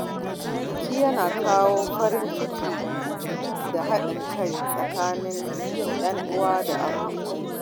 Biki yana kawo farin ciki da haɗin kai tsakanin ‘yan uwa da abokai.